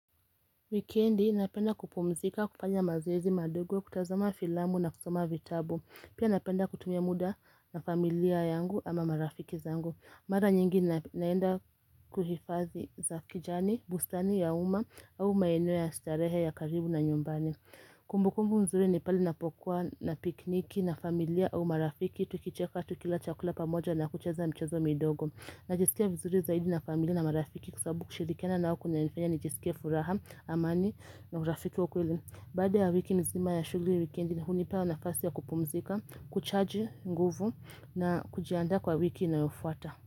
Wikendi napenda kupumzika, kufanya mazoezi madogo, kutazama filamu na kusoma vitabu. Pia napenda kutumia muda na familia yangu ama marafiki zangu. Mara nyingi naenda kwa hifadhi za kijani, bustani ya umma au maeneo ya starehe ya karibu na nyumbani. Kumbukumbu nzuri ni pale ninapokuwa napikniki na familia au marafiki. Tukicheka tukila chakula pamoja na kucheza mchezo midogo. Najisikia vizuri zaidi na familia na marafiki kwa sababu kushirikiana na wao kunanifanya nijisikie furaha, amani na urafiki wa kweli. Baada ya wiki mzima ya shughuli, wikendi hunipa nafasi ya kupumzika, kuchaji nguvu na kujiandaa kwa wiki inayofuata.